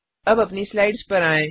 अब अपनी स्लाइड्स पर आएँ